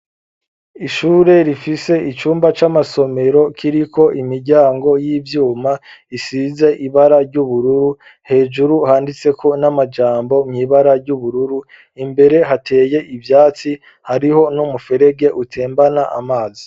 Ishure rifise icumba c'amasomero kiriko imiryango y'ivyuma isize ibara ry'ubururu hejuru handitse ko n'amajambo mw'ibara ry'ubururu imbere hateye ivyatsi hariho n'umuferege utembana amazi.